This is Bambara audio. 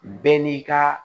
Bɛɛ n'i ka